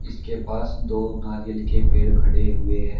इसके पास दो नारियल के पेड़ खड़े हुए हैं।